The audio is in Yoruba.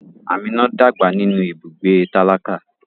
Amina dàgbà nínú ibùgbé tálákà.